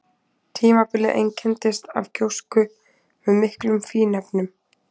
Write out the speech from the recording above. Tímabilið einkenndist af gjósku með miklu af fínefnum.